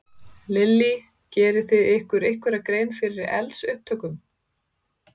Lillý: Gerið þið ykkur einhverja grein fyrir eldsupptökum?